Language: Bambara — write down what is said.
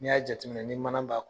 Ni y'a jateminɛ ni mana b'a